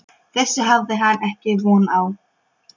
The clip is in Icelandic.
Þessu hafði hann ekki átt von á.